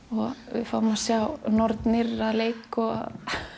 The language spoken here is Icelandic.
við fáum að sjá nornir að leik og